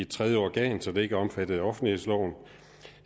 tredje organ så det ikke er omfattet af offentlighedsloven